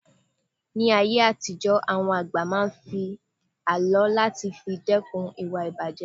Ní ayé àtijó àwọn àgbà máa ń ló àlọ́ láti fi dẹ́kun ìwà ìbàjé